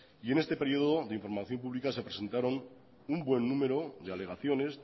y en este periodo de información pública se presentaron un buen número de alegaciones